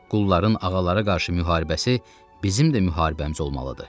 Qulların ağalara qarşı müharibəsi bizim də müharibəmiz olmalıdır.